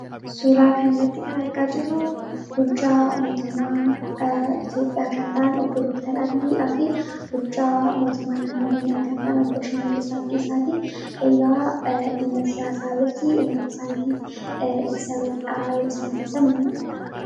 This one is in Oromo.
Suuraa kanarratti kan argaa jirru bulchaa mootummaa Itoophiyaa kan Obbo Dookter Abiyyiidhaa fi bulchaa mootummaa naannoo Oromiyaa kan ta'an, Obbo Shimallis Abdiisaati. Egaa dhimma siyaasaa irratti uummata isaaniitiif ibsa bal'aa yeroo isaan ibsan ni mul'ata.